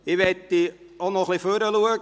Ich möchte auch ein wenig nach vorne blicken.